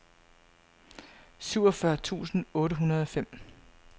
syvogfyrre tusind otte hundrede og fem